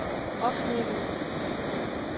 oplevede